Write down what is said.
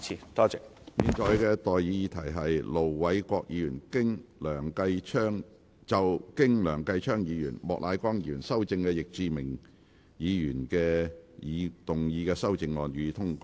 我現在向各位提出的待議議題是：盧偉國議員就經梁繼昌議員及莫乃光議員修正的易志明議員議案動議的修正案，予以通過。